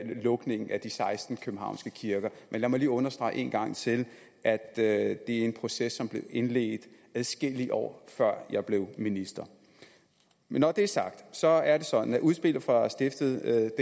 lukningen af de seksten københavnske kirker men lad mig lige understrege en gang til at det er en proces som blev indledt adskillige år før jeg blev minister når det er sagt så er det sådan at udspillet fra stiftet